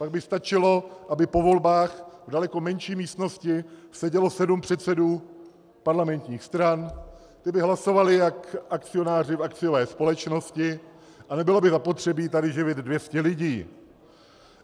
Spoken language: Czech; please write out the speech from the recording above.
Pak by stačilo, aby po volbách v daleko menší místnosti sedělo sedm předsedů parlamentních stran, ti by hlasovali jako akcionáři v akciové společnosti a nebylo by zapotřebí tady živit 200 lidí.